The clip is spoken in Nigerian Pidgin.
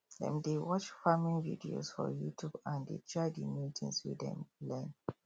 dem dey watch farming videos for youtube and dey try the new things wey dem learn